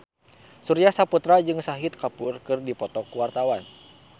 Surya Saputra jeung Shahid Kapoor keur dipoto ku wartawan